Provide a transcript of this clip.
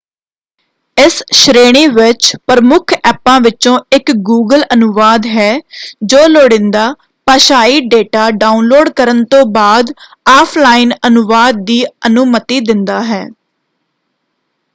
ਇਸ ਸ਼੍ਰੇਣੀ ਵਿੱਚ ਪ੍ਰਮੁੱਖ ਐਪਾਂ ਵਿਚੋਂ ਇਕ ਗੂਗਲ ਅਨੁਵਾਦ ਹੈ ਜੋ ਲੁੜੀਂਦਾ ਭਾਸ਼ਾਈ ਡੇਟਾ ਡਾਉਨਲੋਡ ਕਰਨ ਤੋਂ ਬਾਅਦ ਆਫਲਾਈਨ ਅਨੁਵਾਦ ਦੀ ਅਨੁਮਤੀ ਦਿੰਦਾ ਹੈ।